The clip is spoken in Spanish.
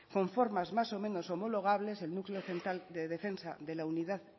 con formas más o menos homologables el núcleo central de defensa de la unidad